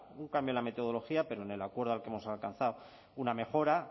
un cambio en la metodología pero en el acuerdo al que hemos alcanzado una mejora